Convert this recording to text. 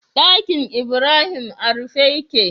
Ɗakinibrahim a rufe yake